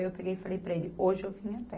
Aí eu peguei e falei para ele, hoje eu vim a pé